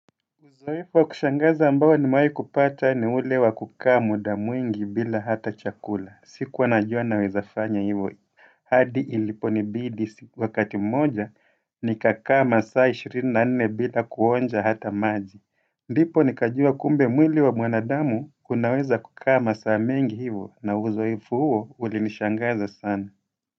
Uzoefu wa kushangaza ambayo nimewahi kupata ni ule wa kukaa muda mwingi bila hata chakula siku anajua nawezabfanya hivo hadi ilipo nibidi wakati mmoja nikakaa masaa 24 bila kuonja hata maji ndipo nikajua kumbe mwili wa mwanadamu kunaweza kukaa masaa mengi hivo na uzoefu huo ulinishangaza sana.